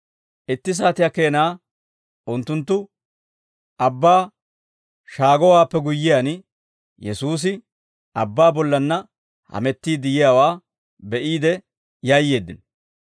itti saatiyaa keenaa unttunttu abbaa shaagowaappe guyyiyaan, Yesuusi abbaa bollanna hamettiidde yiyaawaa be'iide yayyeeddino.